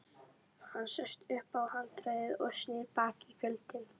Hann sest upp á handriðið og snýr baki í fjöllin.